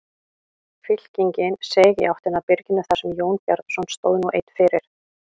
Fylkingin seig í áttina að byrginu þar sem Jón Bjarnason stóð nú einn fyrir.